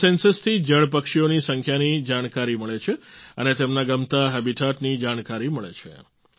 આ સેન્સસ થી જળ પક્ષીઓની સંખ્યાની જાણકારી મળે છે અને તેમના ગમતાં હેબિટેટ ની જાણકારી મળે છે